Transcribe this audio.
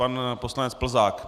Pan poslanec Plzák.